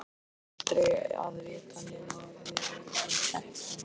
Aldrei að vita nema við verðum heppin.